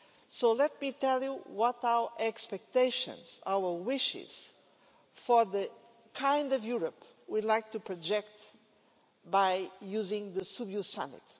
So let me tell you what our expectations are, our wishes for the kind of Europe we'd like to project using the Sibiu summit.